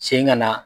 Sen ŋana